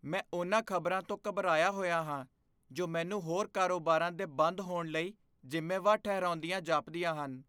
ਮੈਂ ਉਨ੍ਹਾਂ ਖ਼ਬਰਾਂ ਤੋਂ ਘਬਰਾਇਆ ਹੋਇਆ ਹਾਂ ਜੋ ਮੈਨੂੰ ਹੋਰ ਕਾਰੋਬਾਰਾਂ ਦੇ ਬੰਦ ਹੋਣ ਲਈ ਜ਼ਿੰਮੇਵਾਰ ਠਹਿਰਾਉਂਦੀਆਂ ਜਾਪਦੀਆਂ ਹਨ।